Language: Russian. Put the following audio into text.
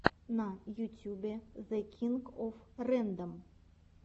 на ютюбе зе кинг оф рэндом